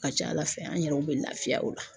A ka ca ALA ale fɛ an yɛrɛw bɛ lafiya o la.